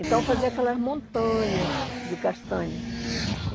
Então fazia aquelas montanhas de castanha.